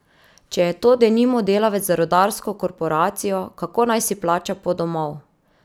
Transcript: Če je to denimo delavec za rudarsko korporacijo, kako naj si plača pot domov?